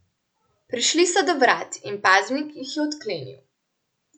Prišli so do vrat in paznik jih je odklenil.